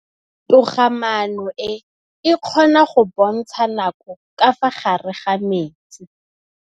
Toga-maanô e, e kgona go bontsha nakô ka fa gare ga metsi.